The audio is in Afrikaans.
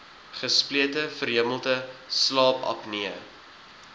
gesplete verhemelte slaapapnee